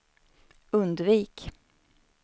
undvik